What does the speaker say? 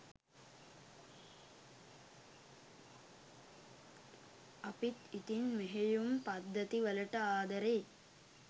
අපිත් ඉතින් මෙහෙයුම් පද්ධති වලට ආදරෙයි